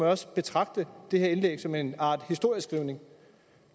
også betragte det her indlæg som en art historieskrivning